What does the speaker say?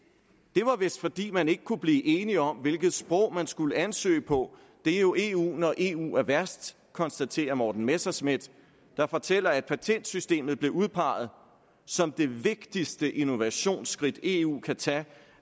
det var vist fordi man ikke kunne blive enige om hvilket sprog man skulle ansøge på det er jo eu når eu er værst konstaterer morten messerschmidt der fortæller at patentsystemet blev udpeget som det vigtigste innovationsskridt eu kan tage